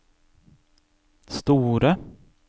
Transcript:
store